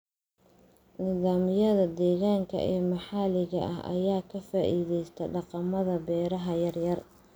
Nidaamyada deegaanka ee maxalliga ah ayaa ka faa'iideysta dhaqamada beeraha yar yar.